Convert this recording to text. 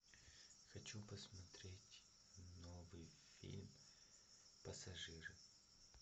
хочу посмотреть новый фильм пассажиры